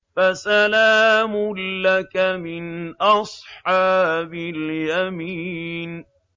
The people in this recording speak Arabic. فَسَلَامٌ لَّكَ مِنْ أَصْحَابِ الْيَمِينِ